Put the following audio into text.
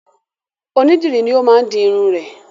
Onídìrí ni ó máa di irun rẹ̀.